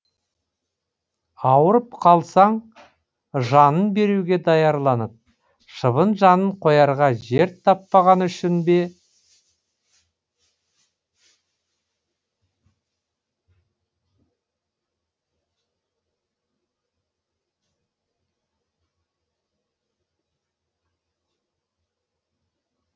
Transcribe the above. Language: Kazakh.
ауырып қалсаң жанын беруге даярланып шыбын жанын қоярға жер таппағаны үшін бе